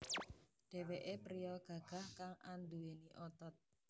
Dheweké priya gagah kang anduweni otot